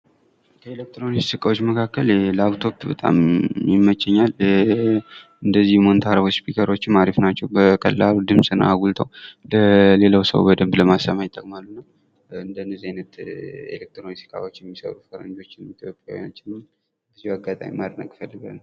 ከኤሌትሮኒክስ እቃዎች መካከል ላፕቶፕ በጣም ይመቸኛል እነዚህ ሞኒታሮች ስፒከሮችም አሪፍ ናቸው ። በቀላሉ ድምፅን አጉልተው ለሌላው ሰው በደንብ ለማሰማት ይጠቅማሉ እና እንደዚህ አይነት ኤሌትሮኒክስ እቃዎች የሚሰሩ ፈረንጆችም ኢትዮጵያውያኖችም በዚህው አጋጣሚ ማድነቅ እፈልጋለሁ ።